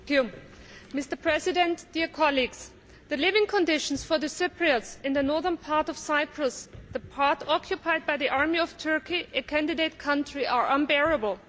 Mr President, the living conditions for the Cypriots in the northern part of Cyprus, the part occupied by the army of Turkey, a candidate country, are unbearable.